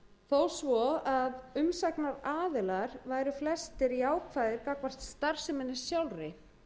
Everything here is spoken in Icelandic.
við frumvarpið þó að umsagnaraðilar væru flestir jákvæðir gagnvart starfseminni sjálfri